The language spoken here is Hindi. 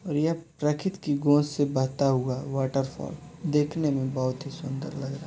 और यह प्रकृति की गोद से बहता हुआ वॉटरफॉल देखने में बहोत ही सुंदर लग रहा --